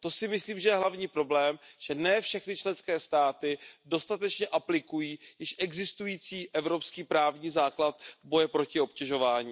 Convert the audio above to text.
To si myslím, že je hlavní problém, že ne všechny členské státy dostatečně aplikují již existující evropský právní základ boje proti obtěžování.